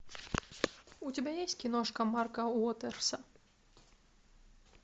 у тебя есть киношка марка уотерса